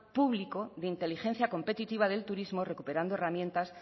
público de inteligencia competitiva del turismo recuperando herramientas